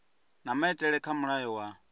na maitele kha mulayo wa